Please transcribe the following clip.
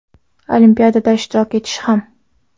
Olimpiadada ishtirok etish ham.